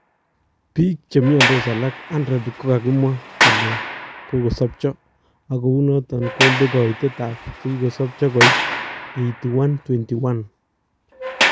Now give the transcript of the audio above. Biik chemyandos alak 100 kokakimwa kole kokosobcho ak kounoton kondee kaitet ab chikisobcho koit 8,121